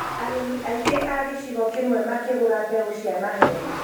Arĩmi aingĩ a gĩchĩgo kĩĩmwe makĩgũra mbeũ cia maheeni